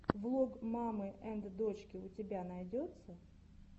влог мамы энд дочки у тебя найдется